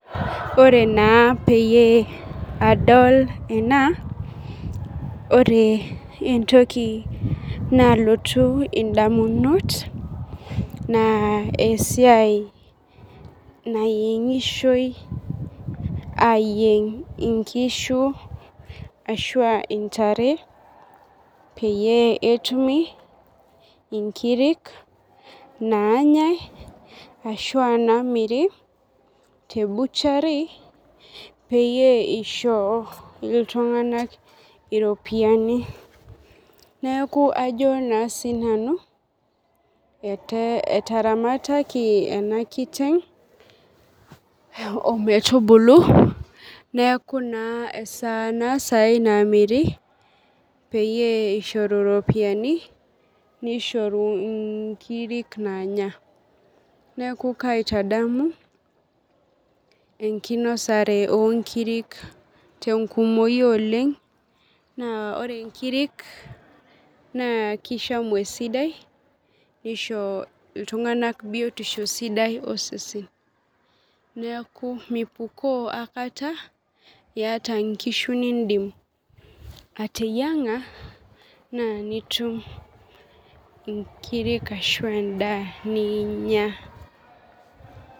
Ore naa peyie adol ena, ore entoki nalotu indamunot, naa esiai neyieng'ishoi ayieng' inkishu ashua intare, peyie etumi inkirik naanyai, ashua namiri, te butchery, peyie isho iltung'anak iropiyiani. Neeku ajo naaa sinanu etaramataki ena kiteng' ometubulu, neeku naa esaa naa sai namiri, peyie ishoru ropiyiani, nishoru nkirik naanya. Neeku kaitadamu enkinosare onkiri tenkumoyu oleng, naa ore nkirik, naa kishamu esidai nisho iltung'anak biotisho sidai osesen. Neeku mipukoo aikata iyata nkishu niidim ateyiang'a, naa nitum inkirik ashu endaa niinya.